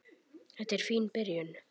Þetta er fín byrjun.